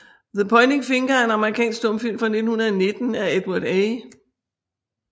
The Pointing Finger er en amerikansk stumfilm fra 1919 af Edward A